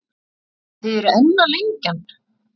Og þið eruð enn að lengja hann?